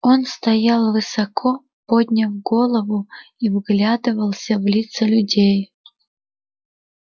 он стоял высоко подняв голову и вглядывался в лица людей